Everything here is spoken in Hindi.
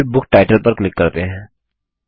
और फिर बुक टाइटल पर क्लिक करते हैं